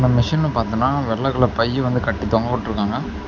மிஷின்ல பாத்தனா வெள்ள கலர் பை வந்து கட்டி தொங்கவிட்ருக்காங்க.